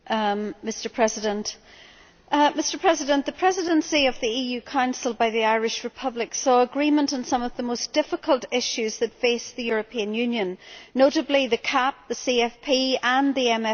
Mr President, the Presidency of the EU Council by the Irish Republic saw agreement on some of the most difficult issues that face the European Union, notably the CAP, the CFP and the MFF.